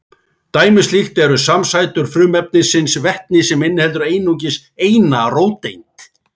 Dæmi um slíkt eru samsætur frumefnisins vetnis sem inniheldur einungis eina róteind.